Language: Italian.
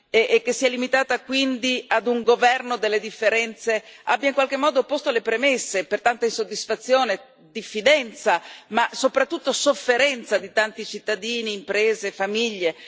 e che si è limitata quindi ad un governo delle differenze, abbia in qualche modo posto le premesse per tanta insoddisfazione, diffidenza, ma soprattutto sofferenza di tanti cittadini, imprese e famiglie?